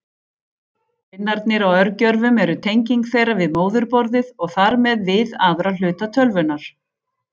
Pinnarnir á örgjörvum eru tenging þeirra við móðurborðið og þar með við aðra hluta tölvunnar.